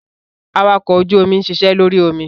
Awakọ̀ ojú omi ń ṣiṣẹ́ lórí omi.